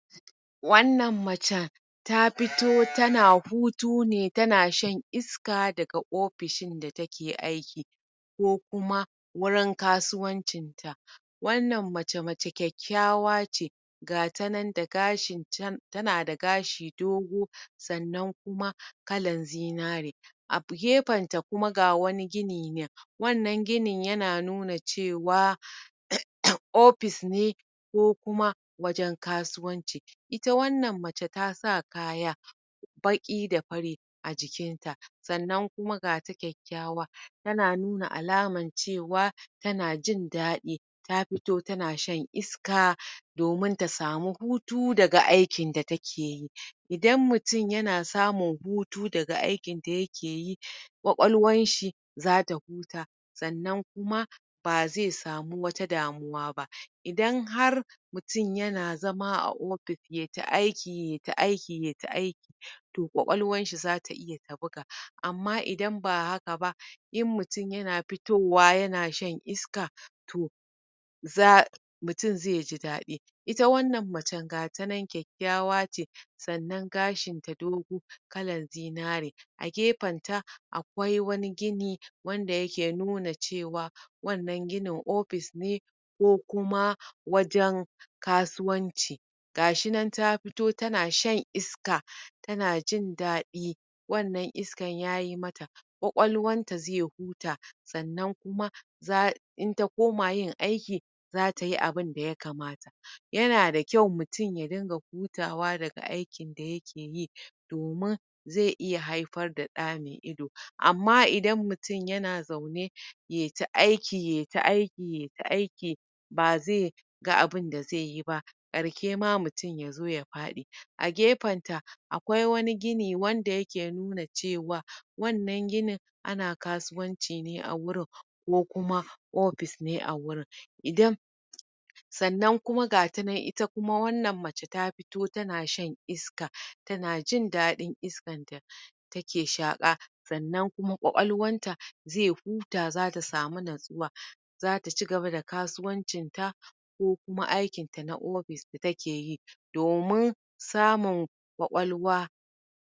wannan macen ta fito tana hutu ne tana shan iska daga opishin da take aiki o kuma wurin kasuwancin ta wannan mace mace kyakkyawa ce gata nan da gashin tana da gashi dogo sannan kuma kalan zinare a gefen ta kuma ga wani gini nan wanna ginin yana nuna cewa opis ne ko kuma wajen kasuwanci ita wannan mace tasa kaya baƙi da fari a jikin ta sannan kuma gata kyakkyawa tana nuna alaman cewa tana jin daɗi ta fito tana shan iska domin ta samu hutu daga aikin da takeyi. idan mutum yana samun hutu daga aikin da yake yi kwakwalwanshi zata huta sannan kuam bazai samu wata damuwa ba. idan har mutum yana zama a opis yata aiki yata aiki yata aiki to kwakwalwanshi zata iya ta buga amma idan ba haka ba in mutum yan pitowa yana shan iska to za mutum zaiji daɗi. ita wannan mace gatanan kyakkyawa ce sannan gashinta dogo kalan zinare a gefen ta akwai wani gini wanda yake nuna cewa wannan ginin opis ne ko kuma wajen kasuwanci gashinan ta fito tana shan iska tana jin daɗi wannan iskan yayi mata kwakwalwanta zai huta sannan kuma za in ta koma yin aiki zata yi abun da ya kamata yana da kyau mutum ya ringa hutawa daga aikin da yake yi domin zai iya haifar da ɗa mai ido. amma idan mutum yana zaune yaita aiki yaita aiki yaita aiki bazai ga abunda zaiyi ba karke ma mutum yazo ya faɗi a gefen ta akwai wani gini wanda yake nuna cewa wannan ginin ana kasuwanci ne a gurin ko kuma opis ne a gurin idan sannan kuma gatanan ita kuma wannan mace ta fito tana shan iska tanajin daɗin iskan take shaƙa sannan kuma kwakwalwanta zai huta zata samu natsuwa zata ci gaba da kasuwancin ta ko kuma aikin ta na opis da takeyi domin samun kwakwalwa.